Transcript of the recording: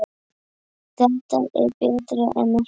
Þetta er betra en ekkert